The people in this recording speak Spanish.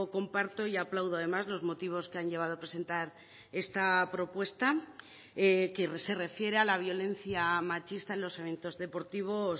comparto y aplaudo además los motivos que han llevado a presentar esta propuesta que se refiere a la violencia machista en los eventos deportivos